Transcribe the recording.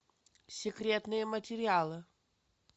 секретные материалы